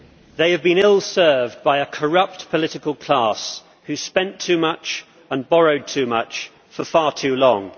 They have been ill served by a corrupt political class who spent too much and borrowed too much for far too long.